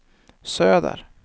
söder